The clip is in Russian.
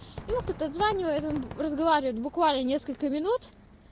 ему кто то озванивает он разговаривает буквально несколько минут